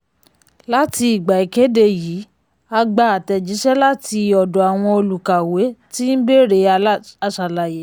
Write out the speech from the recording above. láti ìgbà ìkede yìí a gbà àtẹ̀jíṣẹ́ láti ọ̀dọ̀ àwọn olùkàwé tí ń bèrè aṣàlàyé.